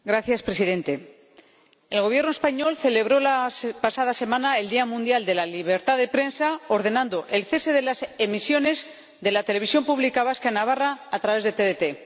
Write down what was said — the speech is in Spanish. Señor Presidente, el Gobierno español celebró la pasada semana el Día Mundial de la Libertad de Prensa ordenando el cese de las emisiones de la televisión pública vasca en Navarra a través de TDT.